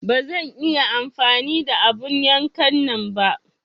Ba zan iya amfani da abun yankan nan ba.